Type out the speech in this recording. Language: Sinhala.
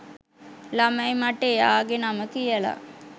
ළමයි මට එයාගෙ නම කියල